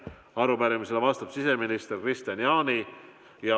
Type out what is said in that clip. Arupärimisele vastab siseminister Kristian Jaani.